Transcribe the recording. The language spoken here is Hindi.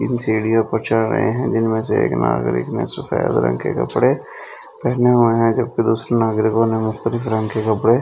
तीन सीढ़ियों पर चल रही है जिनमें से एक नागरिक ने सफेद रंग के कपड़े पहने हुए हैं जबकि दूसरे नागरिकों ने मुक्तलिफ रंग के कपड़े--